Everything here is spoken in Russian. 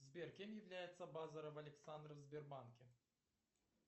сбер кем является базаров александр в сбербанке